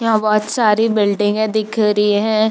यहां बोहत सारी बिल्डिंगे दिख रही है।